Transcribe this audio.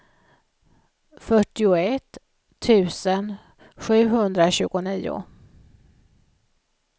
fyrtioett tusen sjuhundratjugonio